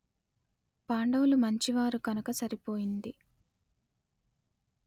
పాండవులు మంచి వారు కనుక సరి పోయింది